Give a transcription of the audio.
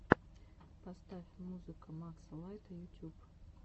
поставь музыка макса лайта ютюб